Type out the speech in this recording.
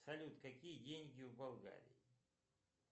салют какие деньги в болгарии